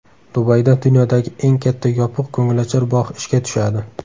Dubayda dunyodagi eng katta yopiq ko‘ngilochar bog‘ ishga tushadi .